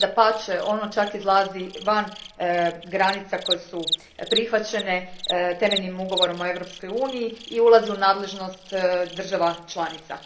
Dapače, ono čak izlazi van granica koje su prihvaćene temeljnim Ugovorom o Europskoj uniji i ulazi u nadležnost država članica.